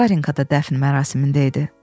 Varenka da dəfn mərasimində idi.